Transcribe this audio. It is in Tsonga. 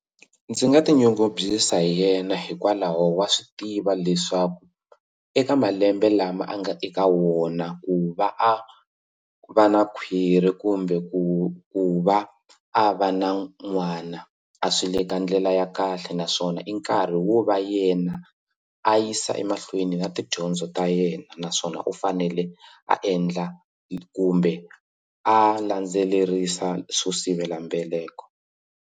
Ndzi nga tinyungubyisa hi yena hikwalaho wa swi tiva leswaku eka malembe lama a nga eka wona ku va a va na khwirhi kumbe ku ku va a va na n'wana a swi le ka ndlela ya kahle naswona i nkarhi wo va yena a yisa emahlweni na tidyondzo ta yena naswona u fanele a endla kumbe a landzelerisa swo sivelambeleko.